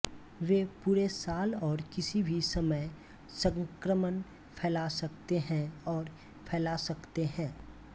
वे पूरे साल और किसी भी समय संक्रमण फैला सकते हैं और फैल सकते हैं